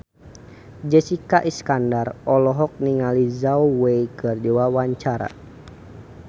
Jessica Iskandar olohok ningali Zhao Wei keur diwawancara